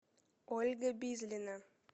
ольга бизлина